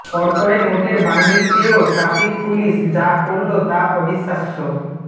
কড়কড়ে নোটের বান্ডিল পেয়েও traffic police যা করল তা অবিশ্বাস্য